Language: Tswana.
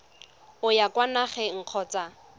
o ya kwa nageng kgotsa